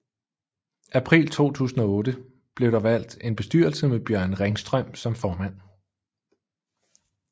April 2008 blev der valgt en bestyrelse med Bjørn Ringstrøm som formand